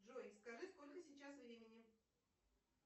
джой скажи сколько сейчас времени